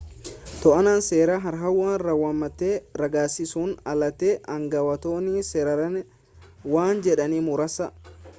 to'annaa seeraa har'a raawwatame raggaasisuun alatti aangawootni seeraan waan jedhan muraasa